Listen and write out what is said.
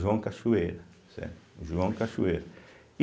João Cachoeira, certo, João Cachoeira. e